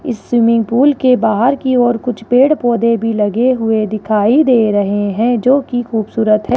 इस swimming pool के बाहर की और कुछ पेड़ पौधे भी लगे हुए दिखाई दे रहे हैं जो की खूबसूरत है।